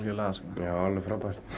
já alveg frábært